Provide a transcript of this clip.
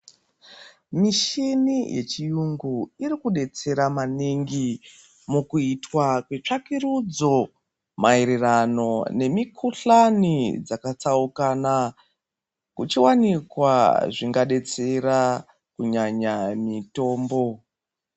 Mishini yechiyungu iri kudetsera maningi mukuitwa kwetsvakurudzo maererano nemikhuhlani dzakatsaukana kuchawanikwa zvingadetsera kunyanya mitombo.